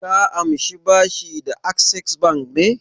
Ka amshi bashi da Access Bank ne?